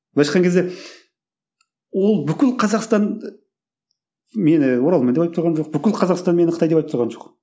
былайша айтқан кезде ол бүкіл қазақстан мені оралман деп айтып тұрған жоқ бүкіл қазақстан мені қытай деп айтып тұрған жоқ